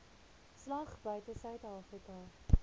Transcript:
slag buite suidafrika